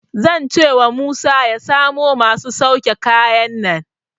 Zan cewa Musa ya samo masu sauke kayan nan.